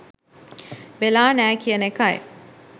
වෙලා නෑ කියන එකයි.